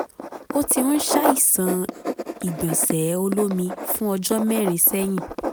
ó ti ń ṣàìsàn ìgbọ̀nsẹ̀ olómi fún ọjọ́ mẹ́rin sẹ́yìn